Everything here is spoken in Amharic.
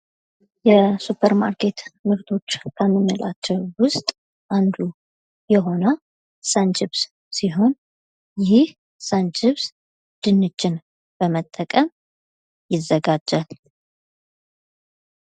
የሱፐርማርኬት ምርቶች ከምንላቸው ውስጥ አንዱ የሆነው ሰንችፕስ ሲሆን፤ ይህ ሰንችፕስ ድንችን በመጠቀም ይዘጋጃል።